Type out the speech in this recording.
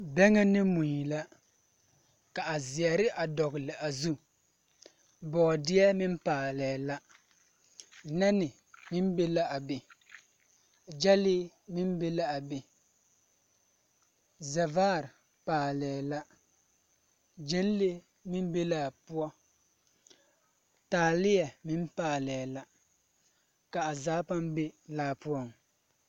Bԑŋԑ ne mui la. Ka a zeԑre a dogele a zu. Bͻͻdeԑ meŋ paalee la. Nԑne meŋ be la a be, gyԑlee meŋ be la a be, zԑvaare paalԑԑ la, gyԑnlee meŋ be laa poͻ, taaleԑ meŋ paalԑԑ la, ka a zaa paa be laa poͻŋ.